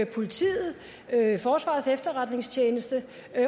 politiet forsvarets efterretningstjeneste